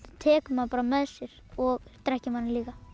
tekur mann bara með sér og drekkir manni líka